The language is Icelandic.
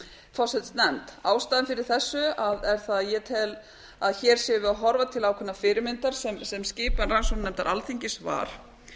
forsætisnefnd ástæðan fyrir þessu er að ég tel hér séum við að horfa til ákveðinnar fyrirmyndar sem skipan rannsóknarnefndar alþingis var